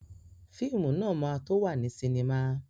Fíìmù náà ma tó wà ní sinimá